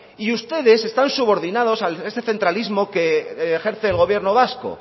y ustedes están subordinados a ese centralismo que ejerce el gobierno vasco